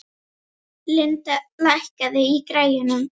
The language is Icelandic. Linda, lækkaðu í græjunum.